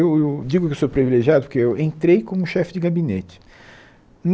Eu eu digo que eu sou privilegiado porque eu entrei como chefe de gabinete.